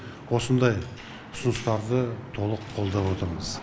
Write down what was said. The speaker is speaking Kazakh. осындай ұсыныстарды толық қолдап отырмыз